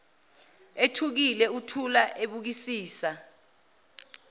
ethukile uthula ebukisisa